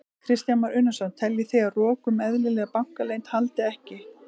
Kristján Már Unnarsson: Teljið þið að rok um eðlilega bankaleynd haldi ekki?